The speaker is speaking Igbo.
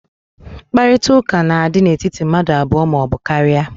Mkparịta ụka na-adị n'etiti mmadụ abụọ ma ọ bụ karịa.